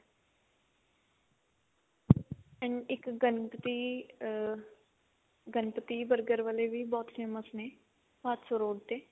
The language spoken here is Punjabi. and ਇਕ ਗਣਪਤੀ ਅਹ ਗਣਪਤੀ burger ਵਾਲੇ ਵੀ ਬਹੁਤ famous ਨੇ ਭਾਦਸੋਂ road ਤੇ